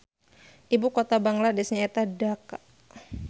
Ibu kota Bangladesh nyaeta Dhaka